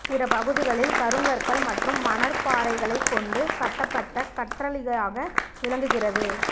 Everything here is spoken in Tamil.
பிற பகுதிகளில் கருங்கற்கள் மற்றும் மணற்பாறைகளைக் கொண்டு கட்டப்பட்ட கற்றளியாக விளங்குகிறது